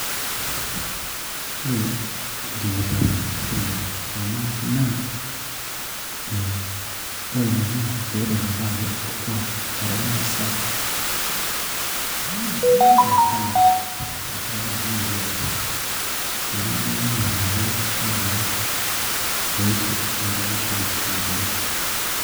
Ore enkipirta osirwa lormaasai naa, ore inaa naa peitudutaa ake orkuak loormaasai, arashu toolarin looponu pemeimin ake orkuak loormaasai toishoritim otoishoritin naaponu.